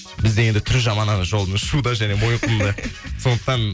бізде енді түрі жаман ана жол шуда және мойынқұмда сондықтан